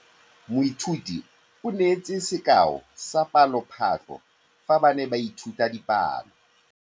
Moithuti o neetse sekaô sa palophatlo fa ba ne ba ithuta dipalo.